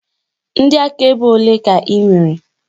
Ndị akaebe olee ka ị nwere?